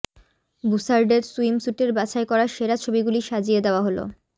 বুশার্ডের সুইমস্যুটের বাছাই করা সেরা ছবিগুলি সাজিয়ে দেওয়া হল